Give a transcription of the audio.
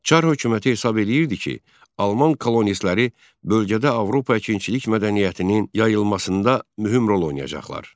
Çar hökuməti hesab eləyirdi ki, alman kolonistləri bölgədə Avropa əkinçilik mədəniyyətinin yayılmasında mühüm rol oynayacaqlar.